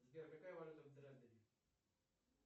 сбер какая валюта в дрездене